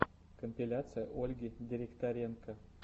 компиляция ольги директоренко